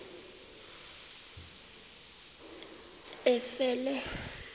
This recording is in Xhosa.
efele